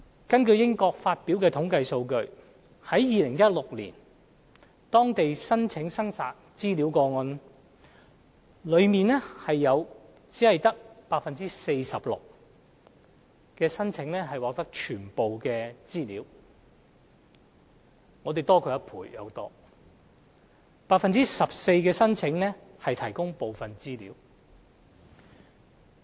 根據英國發表的統計數字，在2016年當地的申請索取資料個案，當中只有 46% 的申請獲提供全部資料，我們的數字高出1倍多 ；14% 的申請獲提供部分資料。